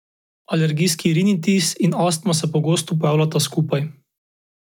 Alergijski rinitis in astma se pogosto pojavljata skupaj.